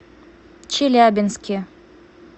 челябинске